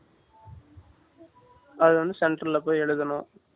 அது வந்து centre la போய் எழுதணும்.